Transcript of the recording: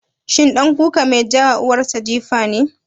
Shi ɗan kuka mai ka wa uwar sa jifa ne?